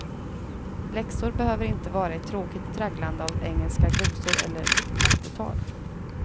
Läxor behöver inte vara ett tråkigt tragglande av engelska glosor eller mattetal.